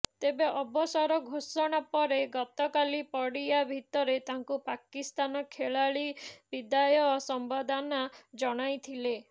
ତେବେ ଅବସର ଘୋଷଣା ପରେ ଗତକାଲି ପଡ଼ିଆ ଭିତରେ ତାଙ୍କୁ ପାକିସ୍ତାନ ଖେଳାଳି ବିଦାୟ ସମ୍ବର୍ଦ୍ଧନା ଜଣାଇଥିଲେ